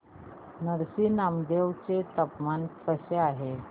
नरसी नामदेव चे तापमान कसे आहे